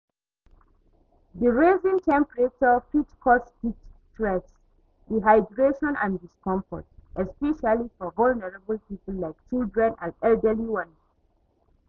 Di rising temperature fit cause heat stress, dehydration and discomfort, especially for vulnerable people like children and elderly ones.